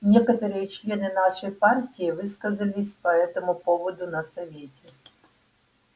некоторые члены нашей партии высказались по этому поводу на совете